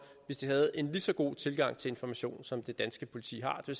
hvis de havde en lige så god tilgang til information som det danske politi har det